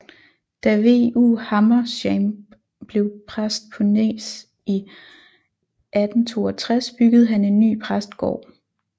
Da V U Hammershaimb blev præst på Nes i 1862 byggede han en ny præstgård